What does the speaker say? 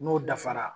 N'o dafara